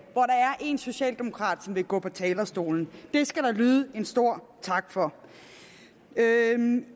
én socialdemokrat som vil gå på talerstolen det skal der lyde en stor tak for